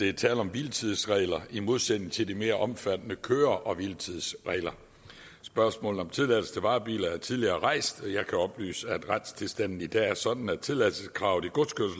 er tale om hviletidsregler i modsætning til de mere omfattende køre hvile tids regler spørgsmålet om tilladelse til varebiler er tidligere rejst og jeg kan oplyse at retstilstanden i dag er sådan at tilladelseskravet i